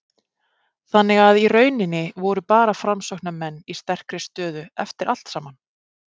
Þannig að í rauninni voru bara Framsóknarmenn í sterkri stöðu eftir allt saman?